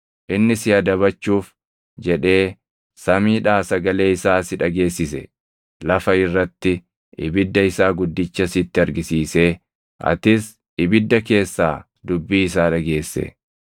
Inni si adabachuuf jedhee samiidhaa sagalee isaa si dhageessise. Lafa irratti ibidda isaa guddicha sitti argisiisee atis ibidda keessaa dubbii isaa dhageesse.